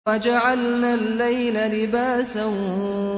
وَجَعَلْنَا اللَّيْلَ لِبَاسًا